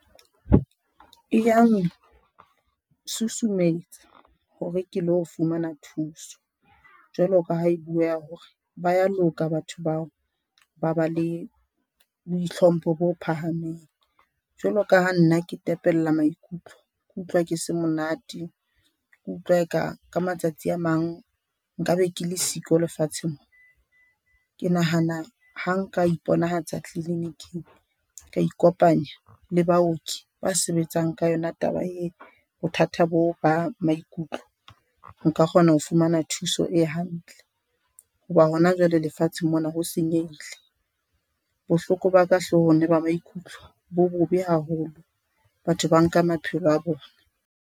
Eya ntshusumetsa hore ke lo fumana thuso jwalo ka ha e buweha ho re ba ya loka batho bao ba ba le bo ihlompho bo phahameng. Jwalo ka ha nna ke tepella maikutlo, ke utlwa ke se monate ke utlwa eka ka matsatsi a mang nkabe ke le siko lefatsheng moo ke nahana ha nka iponahatsa tliliniking ka ikopanya le baoki ba sebetsang ka yona taba e bothata bo ba maikutlo. Nka kgona ho fumana thuso e hantle ho ba hona jwale lefatsheng mona ho senyehile. Bohloko ba ka hloohong le ba maikutlo bo bobe haholo. Batho ba nka maphelo a bona.